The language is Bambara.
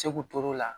Segu ture la